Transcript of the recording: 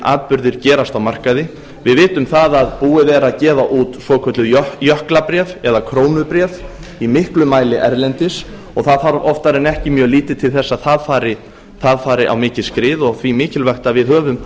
atburðir gerast á markaði við vitum að búið er að gefa út svokölluð jöklabréf eða krónubréf í miklum mæli erlendis og það þarf oftar en ekki mjög lítið til þess að það fari á mikið skrið og því mikilvægt að við höfum